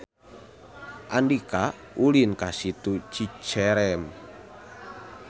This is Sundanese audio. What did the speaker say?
Andika ulin ka Situ Cicerem